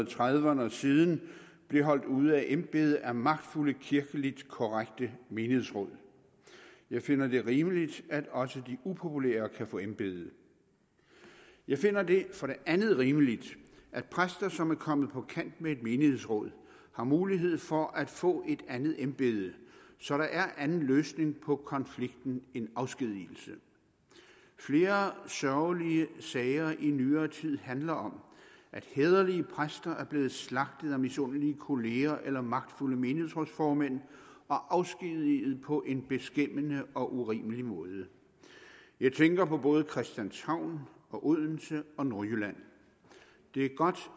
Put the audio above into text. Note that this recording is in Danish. trediverne og siden blev holdt ude af embedet af magtfulde kirkeligt korrekte menighedsråd jeg finder det rimeligt at også de upopulære kan få embede jeg finder det for det andet rimeligt at præster som er kommet på kant med et menighedsråd har mulighed for at få et andet embede så der er anden løsning på konflikten end afskedigelse flere sørgelige sager i nyere tid handler om at hæderlige præster er blevet slagtet af misundelige kollegaer eller magtfulde menighedsrådsformænd og afskedigede på en beskæmmende og urimelig måde jeg tænker på både christianshavn odense og nordjylland det er godt